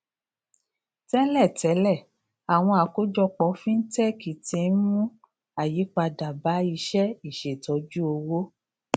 tẹlẹ tẹlẹ àwọn àkójọpọ fintech tí ń mú àyípadà bá iṣẹ ìṣètọjúowó